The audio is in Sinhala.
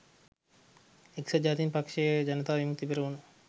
එක්සත් ජාතික පක්‍ෂය ජනතා විමුක්ති පෙරමුණ